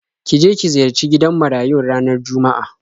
Ki je ki ziyarci gidan marayun ranar Juma'a.